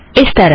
इस तरह